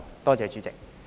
多謝主席。